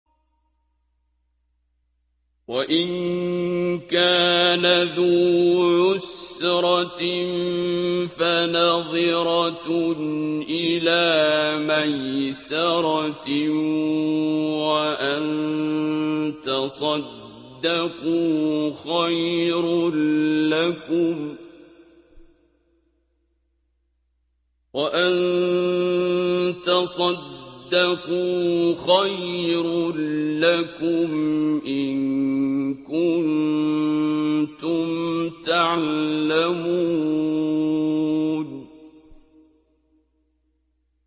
وَإِن كَانَ ذُو عُسْرَةٍ فَنَظِرَةٌ إِلَىٰ مَيْسَرَةٍ ۚ وَأَن تَصَدَّقُوا خَيْرٌ لَّكُمْ ۖ إِن كُنتُمْ تَعْلَمُونَ